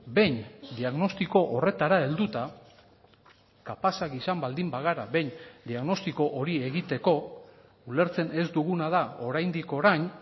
behin diagnostiko horretara helduta kapazak izan baldin bagara behin diagnostiko hori egiteko ulertzen ez duguna da oraindik orain